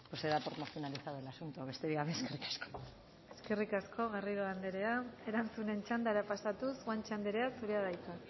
pues se da por finalizado el asunto besterik gabe eskerrik asko eskerrik asko garrido anderea erantzuten txandara pasatuz guanche anderea zurea da hitza